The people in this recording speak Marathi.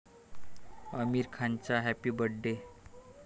आमिर खानचा हॅपी बर्थ डे